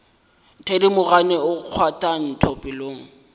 thedimogane o kgwatha ntho pelong